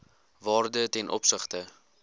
waarde ten opsigte